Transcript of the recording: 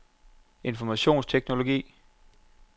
informationsteknologi